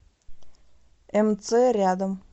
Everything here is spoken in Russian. мц рядом